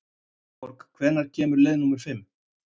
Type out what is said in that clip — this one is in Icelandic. Valborg, hvenær kemur leið númer fimm?